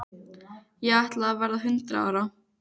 Ég ætla að verða hundrað ára.